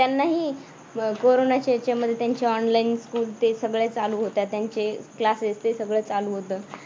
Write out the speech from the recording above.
त्यांनाही अह कोरोनाचे याच्यामध्ये त्यांची online school ते सगळे चालू होत्या. त्यांचे classes हे सगळे चालू होतं.